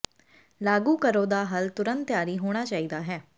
ਲਾਗੂ ਕਰੋ ਦਾ ਹੱਲ ਤੁਰੰਤ ਤਿਆਰੀ ਹੋਣਾ ਚਾਹੀਦਾ ਹੈ